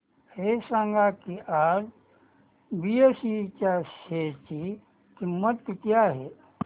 हे सांगा की आज बीएसई च्या शेअर ची किंमत किती आहे